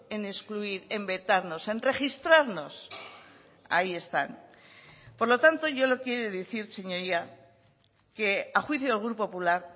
en excluir en vetarnos en registrarnos ahí están por lo tanto yo lo quiere decir señoría que a juicio del grupo popular